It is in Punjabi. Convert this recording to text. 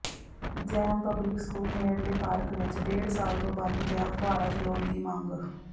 ਜੈੱਮ ਪਬਲਿਕ ਸਕੂਲ ਨੇੜਲੇ ਪਾਰਕ ਵਿੱਚ ਡੇਢ ਸਾਲ ਤੋਂ ਬੰਦ ਪਿਆ ਫੁਹਾਰਾ ਚਲਾਉਣ ਦੀ ਮੰਗ